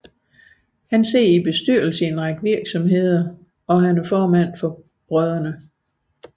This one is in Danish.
Han sidder i bestyrelsen i en række virksomheder og formand for Brdr